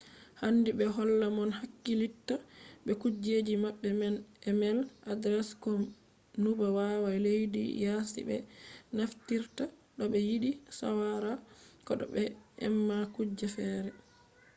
handi ɓe holla mo hakkilitta be kujeji maɓɓe man e-mel adres ko numba waya leddi yasi ɓe naftirta to ɓe yiɗi shawara ko to ɓe eman kuje fere